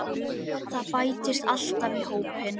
Það bætist alltaf í hópinn.